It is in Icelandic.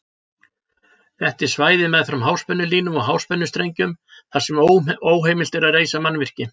Þetta er svæði meðfram háspennulínum og háspennustrengjum þar sem óheimilt er að reisa mannvirki.